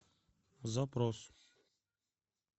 запрос